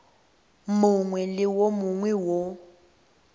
mongwe le wo mongwe wo